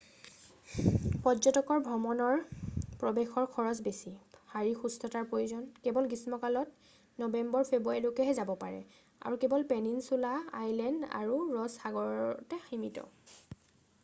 পৰ্যটকৰ ভ্ৰমণৰ প্ৰৱেশৰ খৰচ বেছি শাৰীৰিক সুস্থতাৰ প্ৰয়োজন কেৱল গ্ৰীষ্মকালত নৱেম্বৰ-ফেব্ৰুৱাৰীলৈহে যাব পাৰে আৰু কেৱল পেনিছুলা আইলেণ্ড আৰু ৰছ সাগৰতে সীমিত